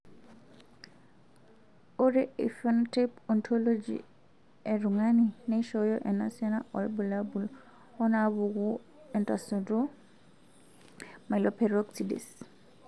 Ore ephenotype ontology etung'ani neishooyo enasiana oorbulabul onaapuku entasato eMyeloperoxidase.